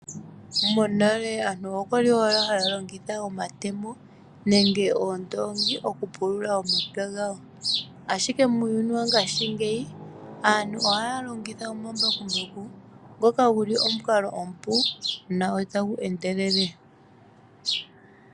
Monale aantu oyali owala haya longitha omatemo nenge oondongi oku pulula omapya gawo, ashike muuyuni wongaashinyeyi aantu ohaya longitha omambakumbaku ngoka guli omukalo omupu na otagu endelele.